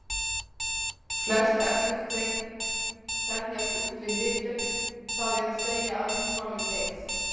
Flest efni þenjast út við hitun, það er að segja að rúmmálið eykst.